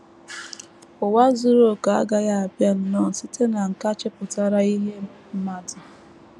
Ụwa zuru okè agaghị abịa nnọọ site na nkà nchepụta ihe mmadụ.